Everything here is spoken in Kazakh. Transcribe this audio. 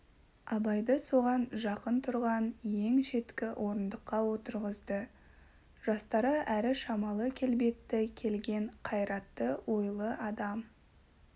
абайды соған жақын тұрған ең шеткі орындыққа отырғызды жастары әрі шамалы келбетті келген қайратты ойлы адам